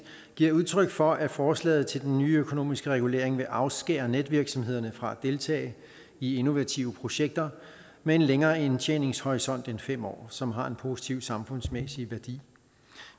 giver udtryk for at forslaget til den nye økonomiske regulering vil afskære netvirksomhederne fra at deltage i innovative projekter med en længere indtjeningshorisont end fem år som har en positiv samfundsmæssig værdi